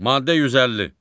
Maddə 150.